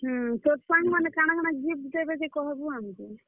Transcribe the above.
ହୁଁ, ତୋର୍ ସାଙ୍ଗ ମାନେ କାଣାକାଣା gift ଦେବେ ଯେ କହେବୁ ଆମକୁ।